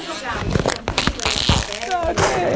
E jogava?